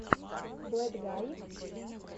блэйдгай